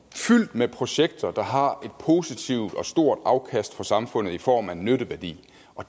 med projekter der har et positivt og stort afkast for samfundet i form af en nytteværdi